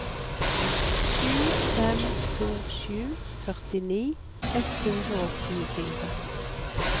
sju fem to sju førtini ett hundre og tjuefire